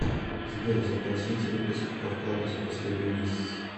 сбер запросить выписку по вкладу за последний месяц